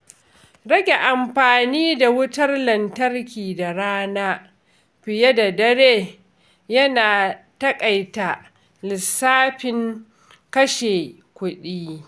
Rage amfani da wutar lantarki da rana fiye da dare yana taƙaita lissafin kashe kuɗi.